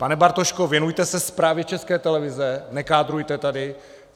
Pane Bartošku, věnujte se zprávě České televize, nekádrujte tady!